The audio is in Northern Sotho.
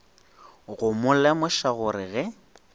go mo lemoša gore ge